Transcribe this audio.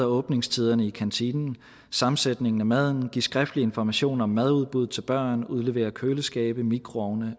åbningstiderne i kantinen og sammensætningen af maden ved at give skriftlig information om madudbud til børn udlevere køleskabe mikroovne